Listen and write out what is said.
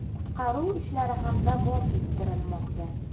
Qutqaruv ishlari ham davom ettirilmoqda.